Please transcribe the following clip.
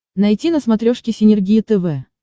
найти на смотрешке синергия тв